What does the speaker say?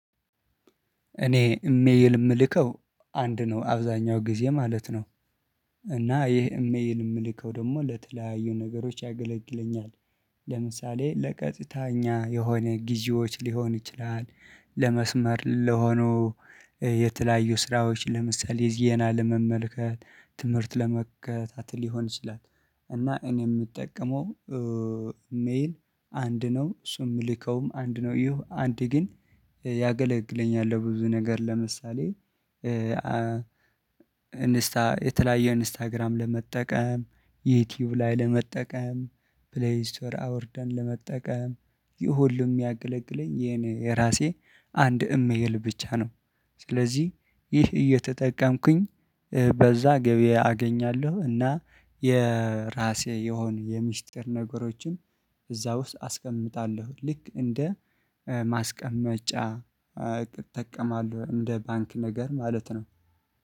እኔ እሜይል የምልከው አንድ ነው አብዛኛው ጊዜ ማለት ነው። እና ይሄ እሜይል የምልከው ደግሞ ለተለያዩ ነገሮች ያገለግለኛል። ለምሳሌ ለቀጥታ እኛ የሆነ ጊዢዎች ሊሆን ይችላል። ለመስመር ለሆኑ የተለያዩ ስራዎች ለምሳሌ ዜና ለመመልከት ትምህርት ለመከታተል ይሆን ይችላል። እና እኔ የምጠቀመው ኢሜል አንድ ነው እሱም እምልከውም አንድ ነው ይሁ አንድ ግን ያገለግለኛል ለብዙ ነገር ለምሳሌ እንስታ የተለያየ ኢንስታግራም ለመጠቀም ዩቲዩብ ላይ ለመጠቀም ፕሌይ ስቶር አውርደን ለመጠቀም ይሄ ሁሉም የሚያገለግለን የኔ የራሴ አንድ እሜኤል ብቻ ነው። ስለዚህ ይሄ እየተጠቀምኩኝ በዛ ገበያ አገኛለሁ እና የራሴ የሆን የምስጢር ነገሮችም እዛ ውስጥ አስቀምጣለሁ ልክ እንደ ማስቀመጫ እጠቀማለሁ እንደ ባንክ ነገር ማለት ነው